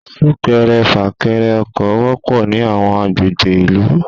Súkẹrẹ fàkẹrẹ ọkọ̀ wọpọ̀ ní àwọn àgbègbè ìlú.